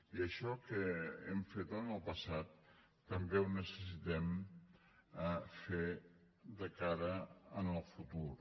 i això que hem fet en el passat també ho necessitem fer de cara al futur